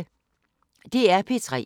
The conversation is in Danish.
DR P3